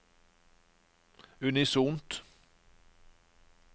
unisont